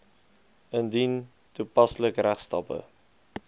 indien toepaslik regstappe